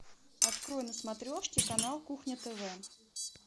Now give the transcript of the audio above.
открой на смотрешке канал кухня тв